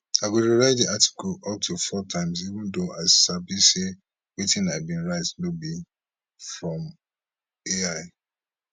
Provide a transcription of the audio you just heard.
i go rewrite di article up to four times even though i sabi say wetin i bin write no be from ai